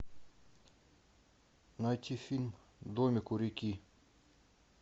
найти фильм домик у реки